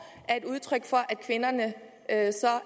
er et udtryk for at kvinderne